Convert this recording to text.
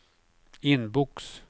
inbox